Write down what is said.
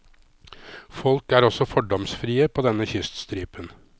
Folk er også fordomsfrie på denne kyststripen.